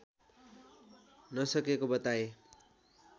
नसकेको बताए